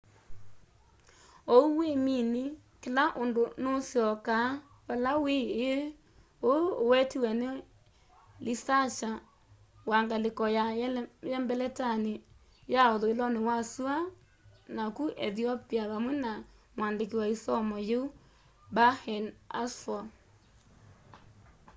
ou wimini kila undu nuusyoka vala wîî îî” uu uwetiwe ni lisakya wa ngaliko ya yelembeta ya uthuiloni wa sua naku ethiopia vamwe na muandiki wa i somo yiu berhane asfaw